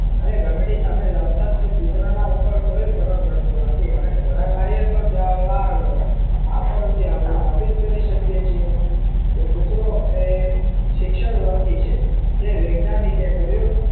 અને ઘંટડી સામે લાવતા જ તે કુતરા ના પર કોઈ ફર્ક પડતો નથી આને ખોરાક લઈએ તો આ પર થી આપડે સાબિત કરી શકીએ છીએ કે કુતરો એ શિક્ષણ વર્ગી છે તે વૈજ્ઞાનીકે કર્યું